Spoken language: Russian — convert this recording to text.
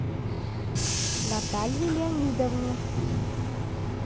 наталье леонидовне